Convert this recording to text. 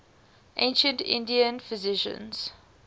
ancient indian physicians